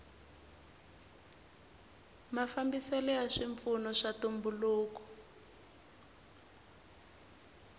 mafambiselo ya swipfuno swa ntumbuluko